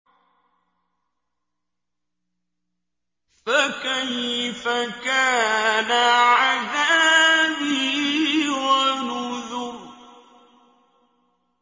فَكَيْفَ كَانَ عَذَابِي وَنُذُرِ